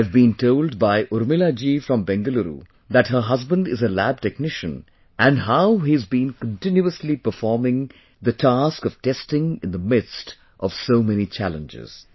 I have been told by Urmila ji from Bengaluru that her husband is a lab technician, and how he has been continuously performing task of testing in the midst of so many challenges